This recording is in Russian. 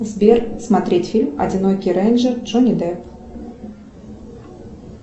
сбер смотреть фильм одинокий рейнджер джонни депп